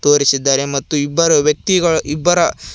ತೋರಿಸಿದ್ದಾರೆ ಮತ್ತು ಇಬ್ಬರು ವ್ಯಕ್ತಿಗಳು ಇಬ್ಬರ--